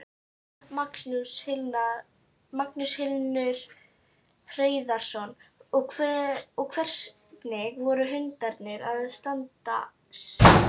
Magnús Hlynur Hreiðarsson: Og hvernig voru hundarnir að standa sig?